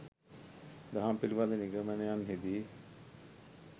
දහම් පිළිබඳ නිගමනයන්හිදී